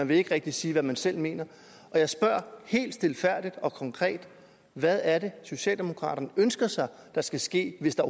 vil ikke rigtig sige hvad man selv mener jeg spørger helt stilfærdigt og konkret hvad er det socialdemokraterne ønsker sig skal ske hvis der